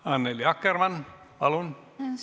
Annely Akkermann, palun!